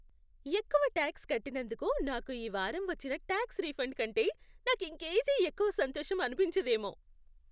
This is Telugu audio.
ఎక్కువ టాక్స్ కట్టినందుకు నాకు ఈ వారం వచ్చిన టాక్స్ రిఫండ్ కంటే నాకింకేదీ ఎక్కువ సంతోషం అనిపించదేమో.